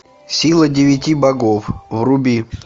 сила девяти богов вруби